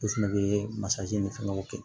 Olu fɛnɛ bɛ masakɛ ni fɛngɛw kɛ